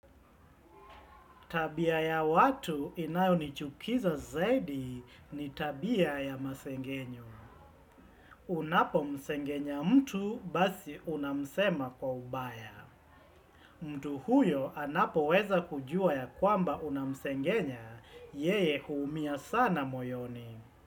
Tabia ya watu inayo nichukiza zaidi ni tabia ya masengenyo. Unapo msengenya mtu basi unamsema kwa ubaya. Mtu huyo anapo weza kujua ya kwamba unamsengenya, yeye huumia sana moyoni.